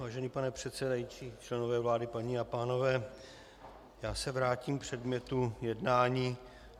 Vážený pane předsedající, členové vlády, paní a pánové, já se vrátím k předmětu jednání.